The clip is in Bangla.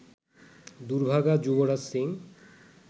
দুর্ভাগা যুবরাজ সিং